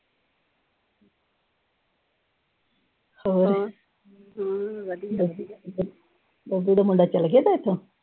ਉਹ ਜਿਹੜਾ ਮੁੰਡਾ ਚਲ ਗਿਆ ਸੀ ਉਥੋਂ।